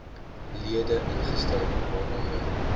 lede ingestel waaronder